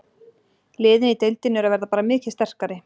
Liðin í deildinni eru að verða bara mikið sterkari.